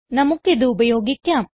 നമുക്ക് ഇത് ഉപയോഗിക്കാം